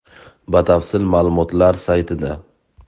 Batafsil ma’lumotlar saytida.